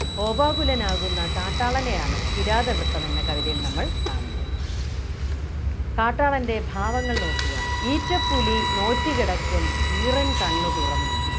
കോപാകുലനാവുന്ന കാട്ടാളനെയാണ് കിരാത വൃത്തം എന്ന കവിതയിൽ നമ്മൾ കാണുന്നത് കാട്ടാളൻ്റെ ഭാവങ്ങൾ നോക്കുക ഈറ്റപ്പുലി നോറ്റു കിടക്കും ഈറൻ കണ്ണു തുറന്നും